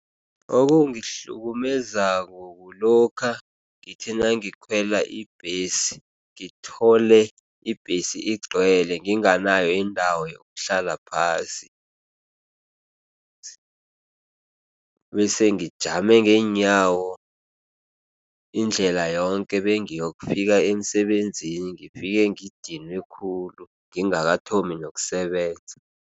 Okungihlukumeza kulokha ngithi nangikhwela ibhesi, ngithole ibhesi igcwele nginganayo indawo yokuhlala phasi bese ngijame ngeenyawo indlela yonke bengiyokufika emsebenzini, ngifike ngidinwe khulu ngingakathomi nokusebenza.